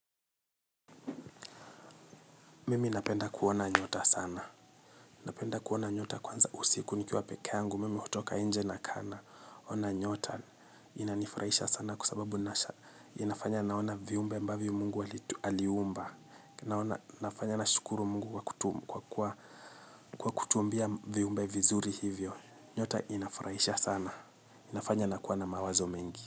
Mimi napenda kuona nyota sana. Napenda kuona nyota kwanza usiku nikiwa peke yangu. Mimi hutoka nje nakaa naona nyota inanifurahisha sana kwa sababu nasha. Inafanya naona viumbe ambavyo mungu aliumba. Inafanya nashukuru mungu kwa kutuumbia viumbe vizuri hivyo. Nyota inafurahisha sana. Inafanya nakuwa na mawazo mengi.